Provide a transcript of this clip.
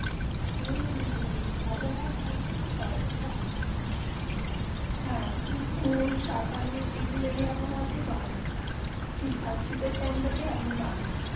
এই আবহাওয়া সময়ে এই পাওবা যায় না হেঁ কূল সাকালোও এই আবহাওয়া তে পাওবা যায় এটা শীতে টাইম. আপনি পাবেন